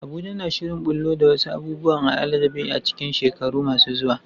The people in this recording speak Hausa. Abuja na shirin ɓullo da wasu abubuwan al'ajabi a cikin shekaru masu zuwa.